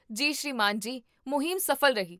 ਜੀ ਸ੍ਰੀਮਾਨ ਜੀ, ਮੁਹਿੰਮ ਸਫ਼ਲ ਰਹੀ